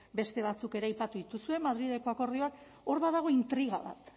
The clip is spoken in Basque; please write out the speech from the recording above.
beste batzuk ere aipatu dituzue madrileko akordioak hor badago intriga bat